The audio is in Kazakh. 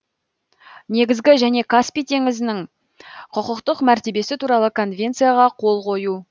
негізгі меже каспий теңізінің құқықтық мәртебесі туралы конвенцияға қол қою